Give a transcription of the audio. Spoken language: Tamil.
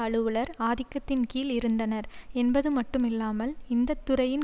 அலுவலர் ஆதிக்கத்தின் கீழ் இருந்தனர் என்பது மட்டும் இல்லாமல் இந்த துறையின்